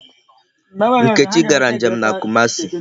Nkechi gara nje m na Kumasi.